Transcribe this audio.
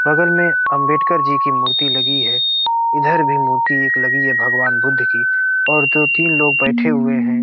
बगल मे अंबेडकर जी की मूर्ति लगी है इधर भी मूर्ति एक लगी है भगवान बुद्ध की और दो तीन लोग बैठे हुए हैं।